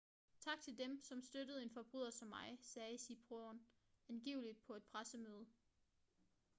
tak til dem som støttede en forbryder som mig sagde siriporn angiveligt på et pressemøde